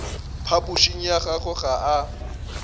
phapošing ya gagwe ga a